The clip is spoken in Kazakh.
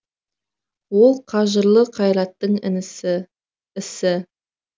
ол қажырлы қайраттың ісі